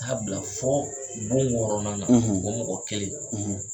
Taa bila fo bon wɔɔrɔnan la, , o mɔgɔ kelen,